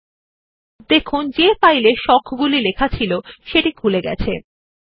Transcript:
এখন শিরোনাম হবিস এর উপর কার্সারটি বসান এবং কন্ট্রোল কী ও মাউস এর বাম বাটন একসাথে টিপুন